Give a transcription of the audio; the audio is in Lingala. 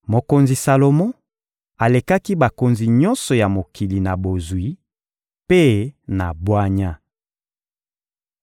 Mokonzi Salomo alekaki bakonzi nyonso ya mokili na bozwi mpe na bwanya.